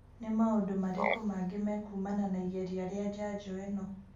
Nĩ maũndũ marĩkũ mangĩ mekuumana na igeria rĩa njanjo ĩno?